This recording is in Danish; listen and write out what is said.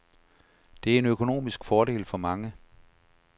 Det er en økonomisk fordel for mange.